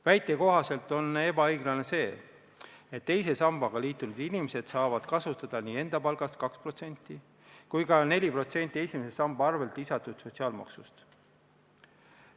Väite kohaselt on ebaõiglane, et teise sambaga liitunud inimesed saavad kasutada nii enda palgast 2% kui ka 4% esimese samba arvel lisatud sotsiaalmaksust.